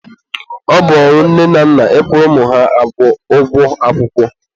ọ bụ ọrụ nne na nna ị kwụrụ ụmụ ha ụgwọ akwụkwọ.